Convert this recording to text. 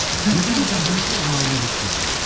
өкінбейсің бе бірінші орын алмай кеткенізге